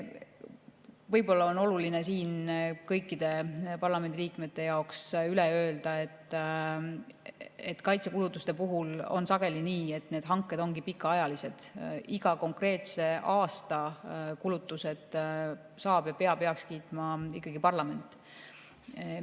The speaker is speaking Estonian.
Võib-olla on oluline siin kõikide parlamendi liikmete jaoks üle öelda, et kaitsekulutuste puhul on sageli nii, et need hanked ongi pikaajalised, iga konkreetse aasta kulutused saab heaks kiita ja peab heaks kiitma parlament.